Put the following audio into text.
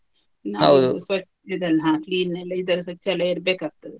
ಸ್ವ~ ಇದನ್ನ ಹಾ clean ನೆಲ್ಲ ಇದೆಲ್ಲ ಸ್ವಚ್ಛ ಎಲ್ಲ ಇರ್ಬೇಕಾಗ್ತದೆ.